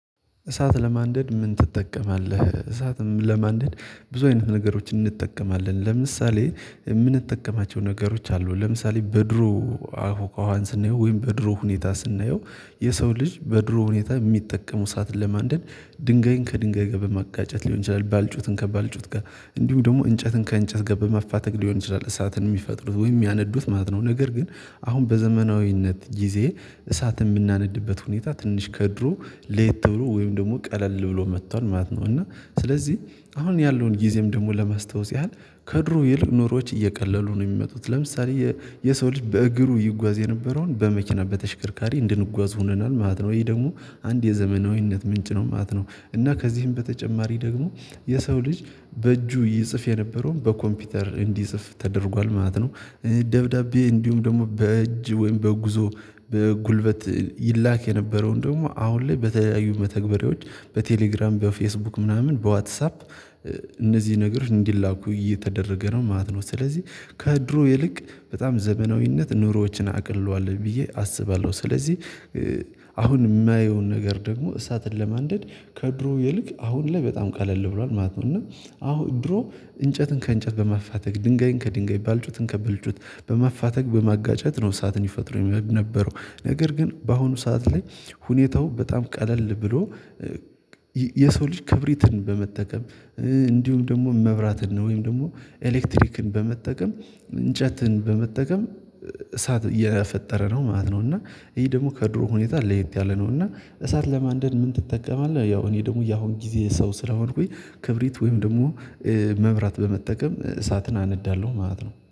እሳት ለማንደድ ምን ትጠቀማለህ? እሳትም ለማንደድ ብዙ አይነት ነገሮችን እንጠቀማለን ለምሳሌ የምንጠቀማቸው ነገሮች አሉ ለምሳሌ በድሮ አፉካዋን ስናየው ወይም በድሮ ሁኔታ ስናየው የሰው ልጅ በድሮ ሁኔታ የሚጠቀመው እሳትን ለማንደድ ድንጋይን ከድንጋይ ጋ በማጋጨት ሊሆን ይችላል ባልጩትን ከባልጩት ጋር እንዲሁ ደግሞ እንጨትን ከእንጨት በማፋተግ ሊሆን ይችላል እሳትን የሚፈጥሩ ወይም ሚያነዱት ማለት ነው። ነገር ግን አሁን በዘመናዊነት ጊዜ እሳት ምናነድበት ሁኔታ ትንሽ ከድሮ ለየት ብሎ ወይም ደግሞ ቀለል ብሎ መቷል ማለት ነው። እና ስለዚህ አሁን ያለውን ጊዜም ደግሞ ለማስታወስ ያህል ከድሮ ይልቅ ኑሮዎች እየቀለሉ ነው የሚመጡት ለምሳሌ የሰው ልጅ በእግሩ ይጓዝ የነበረውን በመኪና በተሽከርካሪ እንድንጓዝ ሆነናል ማለት ነው። ይሄ ደግሞ አንድ የዘመናዊነት ምንጭ ነው ማለት ነው። እና ከዚህም በተጨማሪ ደግሞ የሰው ልጅ በእጁ ይጽፍ የነበረውን በኮምፒውተር እንዲጽፍ ተደርጓል ማለት ነው። ደብዳቤ እንዲሁም ደግሞ በእጅ ወይም በጉዞ በጉልበት ይላክ የነበረውን ደግሞ አሁን ላይ በተለያዩ መተግበሪያዎች በቴሌግራም በፌስቡክ ምናምን በዋትሳፕ እነዚህ ነገሮች እንዲላኩ እየተደረገ ነው ማለት ነው። ስለዚህ ከድሮ ይልቅ በጣም ዘመናዊነት ኑሮዎችን አቅልሏል ብዬ አስባለሁ ስለዚህ። አሁን የማየውን ነገር ደግሞ እሳትን ለማንደድ ከድሮ ይልቅ አሁን ላይ በጣም ቀለል ብሏል ማለት ነው። እና አሁን ድሮ እንጨትን ከእንጨት በማፋተግ ድንጋይን ከድንጋይ ባልጩትን ከብልጩት በመፋተግ በማጋጨት ነው ሳት ይፈጥሩ የነበረው ነገር ግን በአሁኑ ሰዓት ላይ ሁኔታው በጣም ቀለል ብሎ የሰው ልጅ ክብሪትን በመጠቀም እንዲሁም ደግሞ መብራትን ነው ወይም ደግሞ ኤሌክትሪክን በመጠቀም እንጨትን በመጠቀም እሳት እየፈጠረ ነው ማለት ነው። እና ይሄ ደግሞ ከድሮ ሁኔታ ለየት ያለ ነው እና እሳት ለማንደድ ምን ትጠቀማለህ? ያው እኔ ደግሞ የአሁን ጊዜ ሰው ስለሆንኩኝ ክብሪት ወይም ደግሞ መብራት በመጠቀም እሳትን አነዳለሁ ማለት ነው